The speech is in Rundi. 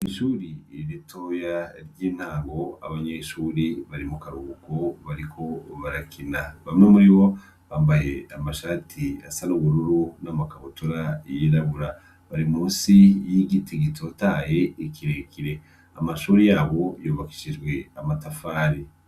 Ishuri ritoya ry'intango abanyeshuri bari mu karuhuko bariko barakina, bamwe muri bo bambaye amashati asa n'ubururu n'amakabutura y'irabura bari mu nsi y'igiti gitotaye kire kire. Amashure yabo yubakishijwe amatafari.